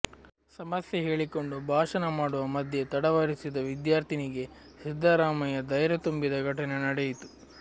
ಸಮಸ್ಯೆ ಹೇಳಿಕೊಂಡು ಭಾಷಣ ಮಾಡುವ ಮಧ್ಯೆ ತಡವರಿಸಿದ ವಿದ್ಯಾರ್ಥಿನಿಗೆ ಸಿದ್ದರಾಮಯ್ಯ ಧೈರ್ಯತುಂಬಿದ ಘಟನೆ ನಡೆಯಿತು